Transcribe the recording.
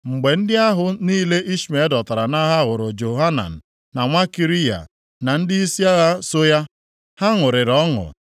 Mgbe ndị ahụ niile Ishmel dọtara nʼagha hụrụ Johanan nwa Kariya na ndịisi agha so ya, ha ṅụrịrị ọṅụ.